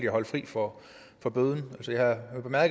holdt fri for for bøden